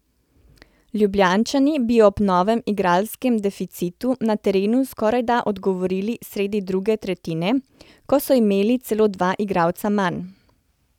Ljubljančani bi ob novem igralskem deficitu na terenu skorajda odgovorili sredi druge tretjine, ko so imeli celo dva igralca manj.